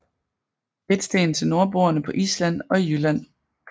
Fedtsten til nordboerne på Island og i Jylland